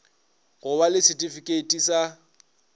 go ba le setifikheiti sa